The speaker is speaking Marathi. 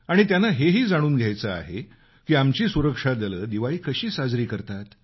आणि त्यांना हे ही जाणून घ्यायचं आहे आमची सुरक्षा दलं दिवाळी कशी साजरी करतात